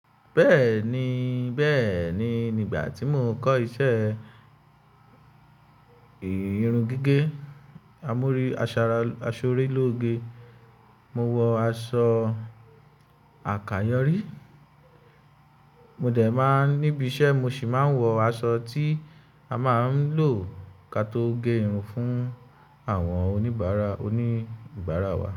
Bẹ́ẹ̀ni, bẹ́ẹ̀ni. Nígbà tí mò ń kọ́ iṣẹ́ ìrún gígẹ̀, àmúrí asọ́rẹ́ lóge, mo wọ aṣọ àkàyòrí. Mò dẹ̀ máa níbi iṣẹ́, mo sì máa ń wọ aṣọ tí a máa ń lò kí a tó gé irun fún àwọn oníbàárà, oní baara wa.